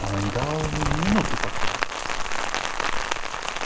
она не давала ему ни минуты покоя